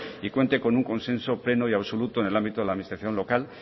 y cuente con un consenso pleno y absoluto en el ámbito de la administración local